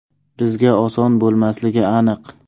Bizga oson bo‘lmasligi aniq.